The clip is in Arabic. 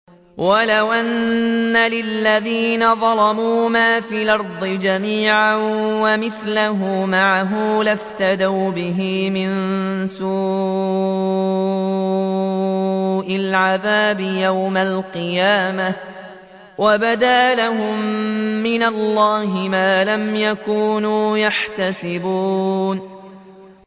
وَلَوْ أَنَّ لِلَّذِينَ ظَلَمُوا مَا فِي الْأَرْضِ جَمِيعًا وَمِثْلَهُ مَعَهُ لَافْتَدَوْا بِهِ مِن سُوءِ الْعَذَابِ يَوْمَ الْقِيَامَةِ ۚ وَبَدَا لَهُم مِّنَ اللَّهِ مَا لَمْ يَكُونُوا يَحْتَسِبُونَ